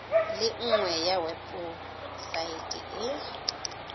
le nngwe ya webosaete e